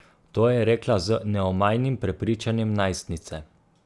To je rekla z neomajnim prepričanjem najstnice.